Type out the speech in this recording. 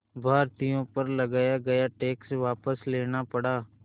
भारतीयों पर लगाया गया टैक्स वापस लेना पड़ा